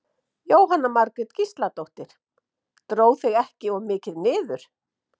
Jóhanna Margrét Gísladóttir: Dró þig ekki of mikið niður?